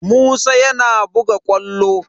Musa yana buga ƙwallo.